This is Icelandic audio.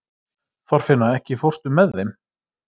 Þorfinna, ekki fórstu með þeim?